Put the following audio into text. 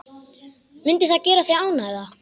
Mundi það gera þig ánægða?